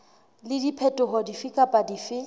le diphetoho dife kapa dife